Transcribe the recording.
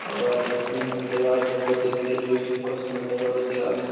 আলাজো হুম দেওয়া আছে প্রত্যেক গিলিস খুব সুন্দর ভাবে দেওয়া আছে--